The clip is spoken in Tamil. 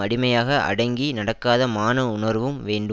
அடிமையாக அடங்கி நடக்காத மான உணர்வும் வேண்டும்